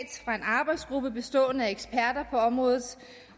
fra en arbejdsgruppe bestående af eksperter på området